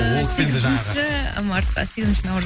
ол кісі енді жаңағы сегізінші мартта сегізінші наурыз